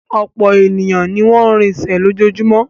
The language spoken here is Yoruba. Ọ̀pọ̀ ènìyàn ní wọn ń rinsẹ̀ lójoojúmọ́.